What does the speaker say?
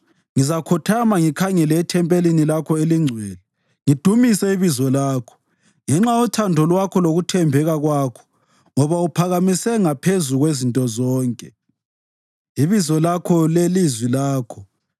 Ngizakhothama ngikhangele ethempelini lakho elingcwele ngidumise ibizo lakho, ngenxa yothando lwakho lokuthembeka kwakho, ngoba uphakamise ngaphezu kwezinto zonke ibizo lakho lelizwi lakho.